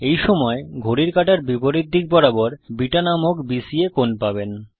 এই সময় ঘড়ির কাঁটার বিপরীত দিক বরাবর বিটা নামে বিসিএ কোণ পাবেন